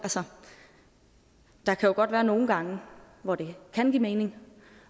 der kan jo godt være nogle gange hvor det kan give mening